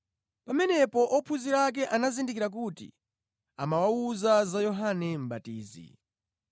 Pamenepo ophunzira anazindikira kuti amawawuza za Yohane Mʼbatizi.